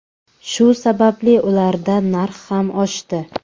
Shu sababli ularda narx ham oshdi.